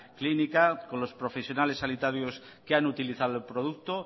clínica con los profesionales sanitarios que han utilizado el producto